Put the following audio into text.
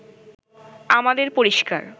আমাদের পরিষ্কার